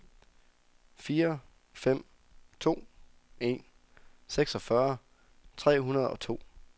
fire fem to en seksogfyrre tre hundrede og to